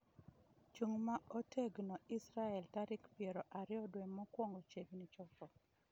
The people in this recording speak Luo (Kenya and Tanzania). chung' ma otegno israel, tarik piero ariyo dwe mokuongo chiegni chopo!